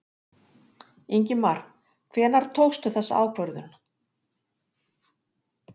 Ingimar: Hvenær tókstu þessa ákvörðun?